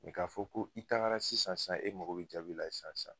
ka fɔ ko i tagara sisan, e mago bi jaabi la sisan